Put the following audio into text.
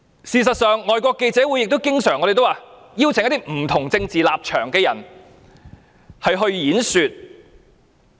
事實上，外國記者會也經常邀請一些不同政治立場的人演說。